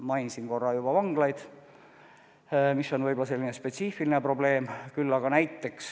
Mainisin juba vanglaid, mis on võib-olla selline spetsiifiline probleem.